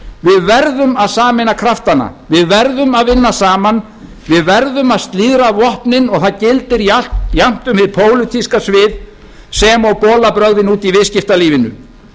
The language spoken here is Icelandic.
við verðum að sameina kraftana við verðum að vinna saman við verðum að slíðra vopnin og það gildir jafnt um hið pólitíska svið sem og bolabrögðin úti í viðskiptalífinu